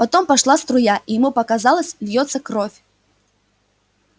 потом пошла струя и ему показалось льётся кровь